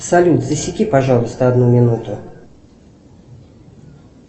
салют засеки пожалуйста одну минуту